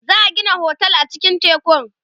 za'a Gina otel a cikin tekun